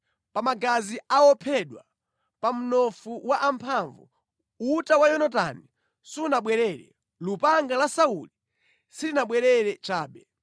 “Pa magazi a ophedwa, pa mnofu wa amphamvu, uta wa Yonatani sunabwerere, lupanga la Sauli silinabwere chabe.